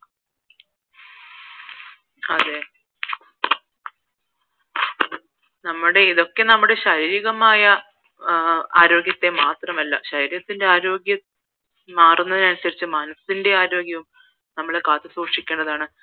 അതേ നമ്മടെ ഇതൊക്കെ നമ്മടെ ശാരീരികമായ ആരോഗ്യത്തെ മാത്രമല്ല ശരീരത്തിന്റെ ആരോഗ്യം മാറുന്നതിന് അനുസരിച്ച് മനസിന്റെ ആരോഗ്യവും നമ്മൾ കാത്തു സൂക്ഷിക്കേണ്ടതാണ്